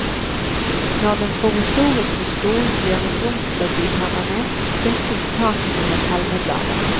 Når den provisoriske skolen gjøres om til å bli permanent, dekkes takene med palmeblader.